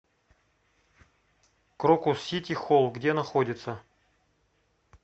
крокус сити хол где находится